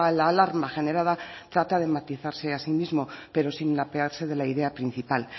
la alarma generada trata de matizarse así mismo pero sin apearse de la idea principal